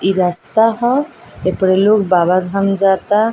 ई रास्ता हौ ऐ परे लोग बाबा धाम जाता।